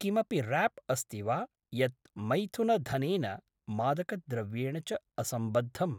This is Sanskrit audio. किमपि राप् अस्ति वा यत् मैथुनधनेन, मादकद्रव्येण च असम्बद्धम्?